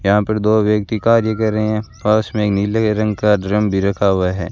यहां पर दो व्यक्ति कार्य कर रहे हैं पास में ही नीले रंग का ड्रम भी रखा हुआ है।